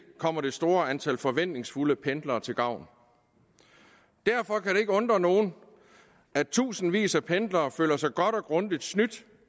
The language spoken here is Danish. kommer det store antal forventningsfulde pendlere til gavn derfor kan det ikke undre nogen at tusindvis af pendlere føler sig godt og grundigt snydt